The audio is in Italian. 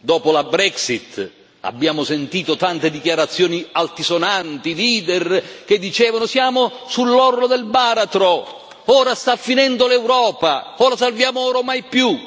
Dopo la Brexit abbiamo sentito tante dichiarazioni altisonanti, leader che dicevano siamo sull'orlo del baratro, ora sta finendo l'Europa o la salviamo ora o mai più